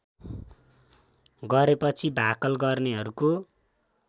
गरेपछि भाकल गर्नेहरूको